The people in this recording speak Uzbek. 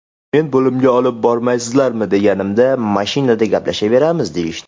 Men bo‘limga olib bormaysizlarmi deganimda, mashinada gaplashaveramiz, deyishdi.